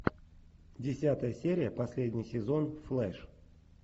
десятая серия последний сезон флэш